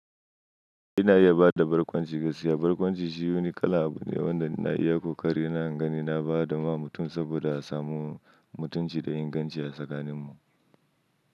Ina iya bada barkwanci gaskiya. Barkwanci shi wani kala abu ne wanda ina iya kokari na ingani na bada ma mutum saboda a samu mutunci da inganci a tsakanin mu.